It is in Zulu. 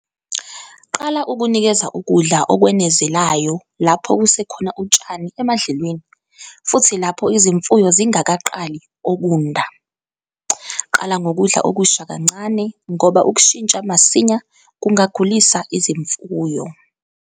Qala ukunikeza ukudla okwenezelayo lapho kusekhona utshani emadlelweni futhi lapho izimfuyo zingakaqali okunda. Qala ngokudla okusha kancane ngoba ukushintsha masinya kungagulisa izimfuyo.